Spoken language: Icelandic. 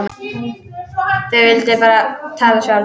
Þau vildu bara tala sjálf.